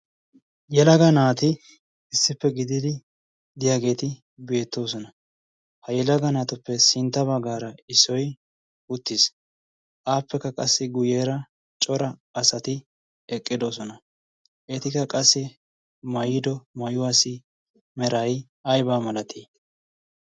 yelaga naati issippe gididi diyaageeti beettoosona. ha yelaga naatuppe sintta baggaara issoy uttiis aappekka qassi guyyeera cora asati eqqidosona eetikka qassi mayiido maayuwaasi merai aibaa malatii?